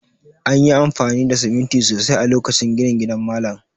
An yi amfani da siminti sosai a lokacin ginin gidan malam